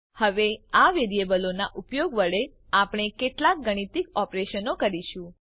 હવે આ વેરીએબલોનાં ઉપયોગ વડે આપણે કેટલાક ગાણિતિક ઓપરેશનો કરીશું